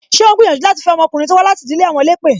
Ṣé o ń gbìyànjú láti fe ọmọkùnrin to wá láti ìdílé àwọn elépè?